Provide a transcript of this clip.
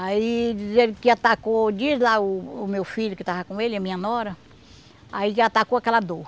Aí diz ele que atacou, diz lá o o meu filho que estava com ele, a minha nora, aí que atacou aquela dor.